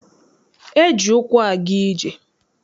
E ji ụkwụ aga ije.